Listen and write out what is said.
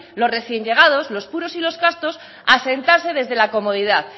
los recién llegados los puros y los castos a sentarse desde la comodidad